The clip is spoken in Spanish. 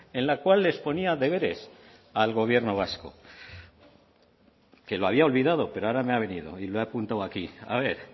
en la cual les ponía deberes al gobierno vasco que lo había olvidado pero ahora me ha venido y lo he apuntado aquí a ver